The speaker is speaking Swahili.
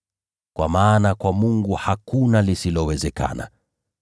Kwa maana kwa Mungu hakuna lisilowezekana.”